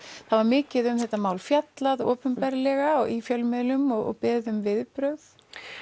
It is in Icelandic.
það var mikið um þetta mál fjallað opinberlega í fjölmiðlum og beðið um viðbrögð